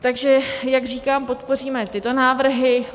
Takže jak říkám, podpoříme tyto návrhy.